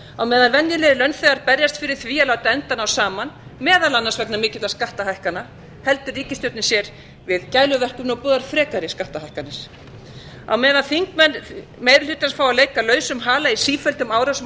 á meðan venjulegir launþegar berjast fyrir því að láta enda ná saman meðal annars vegna mikilla skattahækkana heldur ríkisstjórnin sér við gæluverkefni og boðar frekari skattahækkanir á meðan þingmenn meiri hlutans fá að leika lausum hala í sífelldum árásum á